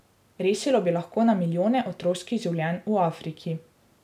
Rešilo bi lahko na milijone otroških življenj v Afriki.